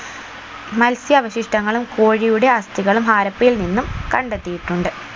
മൽസ്യാവശിഷ്ടങ്ങളും കോഴിയുടെ അസ്ഥികളും ഹരപ്പയിൽ നിന്നും കണ്ടെത്തിയിട്ടുണ്ട്